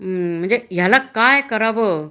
अं म्हणजे याला काय करावं